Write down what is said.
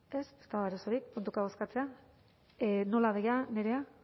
ez ez dago arazorik puntuka bozkatzea nola doa nerea ah